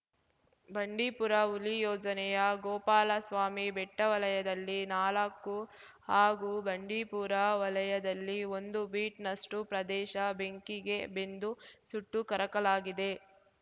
ಬಂಡೀಪುರ ಹುಲಿ ಯೋಜನೆಯ ಗೋಪಾಲಸ್ವಾಮಿ ಬೆಟ್ಟವಲಯದಲ್ಲಿ ನಾಲಕ್ಕು ಹಾಗು ಬಂಡೀಪುರ ವಲಯದಲ್ಲಿ ಒಂದು ಬೀಟ್‌ನಷ್ಟುಪ್ರದೇಶ ಬೆಂಕಿಗೆ ಬೆಂದು ಸುಟ್ಟು ಕರಕಲಾಗಿದೆ